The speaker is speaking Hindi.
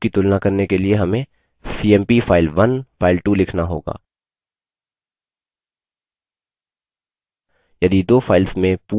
file1 और file2 की तुलना करने के लिए हमें cmp file1 file2 लिखना होगा